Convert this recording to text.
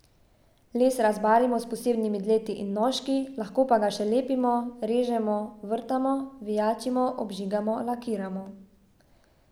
Les rezbarimo s posebnimi dleti in nožki, lahko pa ga še lepimo, režemo, vrtamo, vijačimo, obžigamo, lakiramo.